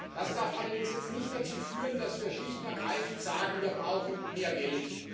Das darf allerdings jetzt nicht dazu führen, dass wir schlicht und ergreifend sagen Wir brauchen mehr Geld.